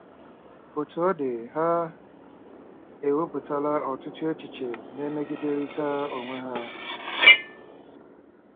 Otú ọ dị, ha ewepụtala ọtụtụ echiche na-emegiderịta onwe ha.